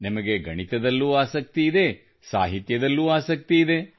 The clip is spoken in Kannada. ನಿಮಗೆ ಗಣಿತದಲ್ಲೂ ಆಸಕ್ತಿ ಇದೆ ಮತ್ತು ಸಾಹಿತ್ಯದಲ್ಲೂ ಆಸಕ್ತಿ ಇದೆ